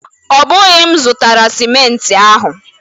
Ọ bụghị m zụrụtara sịmenti ahụ.